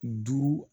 Duuru